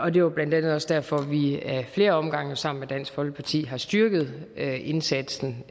er jo blandt andet også derfor at vi ad flere omgange sammen med dansk folkeparti har styrket indsatsen